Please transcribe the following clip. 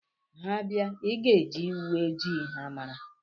Ha bịa, ịga eji uwe ojii ha mara